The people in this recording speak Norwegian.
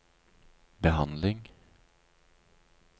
behandling